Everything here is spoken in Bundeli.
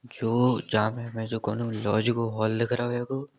जो जामे हमे कौनो लॉज को हॉल दिख रहो हैगो।